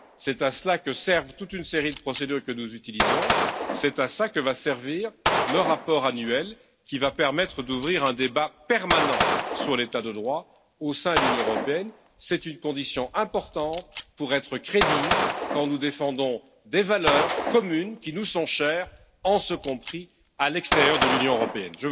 C'est à cela que servent toute une série de procédures que nous utilisons, c'est à cela que va servir le rapport annuel qui va permettre d'ouvrir un débat permanent sur l'état de droit au sein de l'Union européenne, c'est une condition importante pour être crédibles quand nous défendons des valeurs communes qui nous sont chères, y compris à l'extérieur de l'Union européenne.